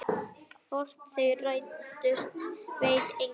Hvort þau rættust veit enginn.